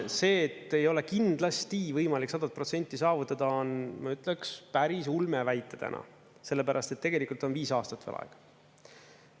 See, et ei ole kindlasti võimalik 100% saavutada, on, ma ütleks, päris ulme väita täna, sellepärast et tegelikult on viis aastat veel aega.